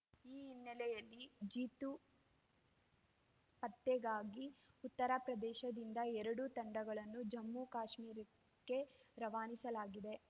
ಈ ಹಿನ್ನೆಲೆಯಲ್ಲಿ ಜೀತು ಪತ್ತೆಗಾಗಿ ಉತ್ತರಪ್ರದೇಶದಿಂದ ಎರಡು ತಂಡಗಳನ್ನು ಜಮ್ಮುಕಾಶ್ಮೀರಕ್ಕೆ ರವಾನಿಸಲಾಗಿದೆ